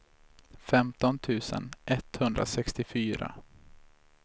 femton tusen etthundrasextiofyra